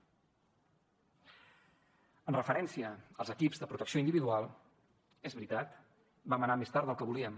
en referència als equips de protecció individual és veritat vam anar més tard del que volíem